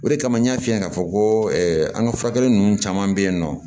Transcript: O de kama n y'a f'i ye k'a fɔ ko an ka furakɛli ninnu caman bɛ yen nɔ